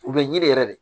U bɛ yiri yɛrɛ de